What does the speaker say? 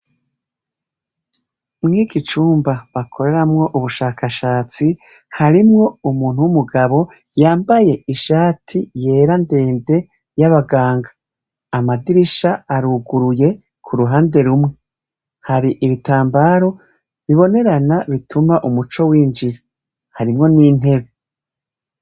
Mwiki cumba bakoreramwo ubushakashatsi, harimwo umuntu w'umugabo yambaye ishati yera ndende y'abanganga, amadirisha aruguruye k'uruhande rumwe, hari ibitambara bibonerana bituma umuco winjira, harimwo n'intebe.